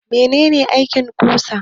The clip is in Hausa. Mene ne aikin ƙusa?